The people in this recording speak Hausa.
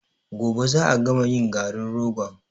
Gobe za a gama yin garin rogon.